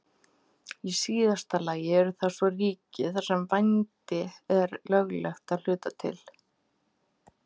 Í síðasta lagi eru það svo ríki þar sem vændi er löglegt að hluta til.